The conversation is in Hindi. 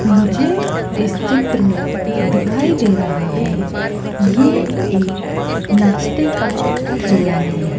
मुझे इस चित्र में दिखाई दे रहा हैं ये एक नाश्ते का ठेला है।